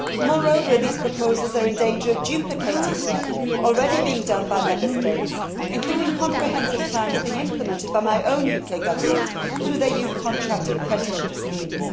Moreover, these proposals are in danger of duplicating work already being done by Member States, including comprehensive plans being implemented by my own UK Government through their Youth Contract and Apprenticeship schemes.